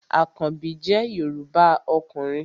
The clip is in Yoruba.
Àkanbí jẹ́ Yorùbá ọkùnrin